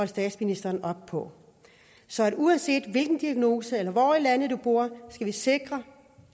statsministeren op på så uanset hvilken diagnose eller hvor i landet du bor skal vi sikre